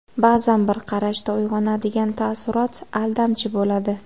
Ba’zan bir qarashda uyg‘onadigan taassurot aldamchi bo‘ladi.